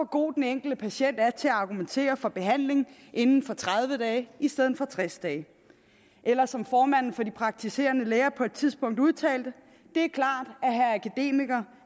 god den enkelte patient er til at argumentere for behandling inden for tredive dage i stedet tres dage eller som formanden for de praktiserende læger på et tidspunkt udtalte det er klart